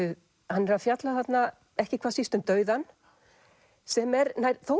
hann er að fjalla þarna ekki hvað síst um dauðann sem er þó